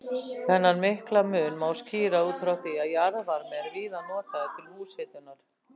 Þennan mikla mun má skýra út frá því að jarðvarmi er víða notaður til húshitunar.